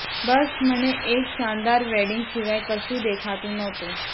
બસ મને એક શાનદાર વેડિંગ સિવાય કશું દેખાતું નહોતું